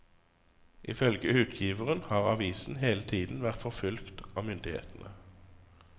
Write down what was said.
Ifølge utgiveren har avisen hele tiden vært forfulgt av myndighetene.